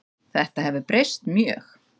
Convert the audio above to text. Þetta hefur breyst mjög.